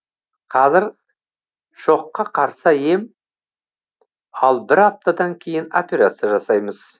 қазір шокка қарсы ем ал бір аптадан кейін операция жасаймыз